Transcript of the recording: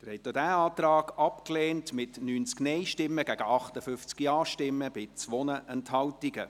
Sie haben auch diesen Antrag abgelehnt, mit 90 Nein- gegen 58 Ja-Stimmen bei 2 Enthaltungen.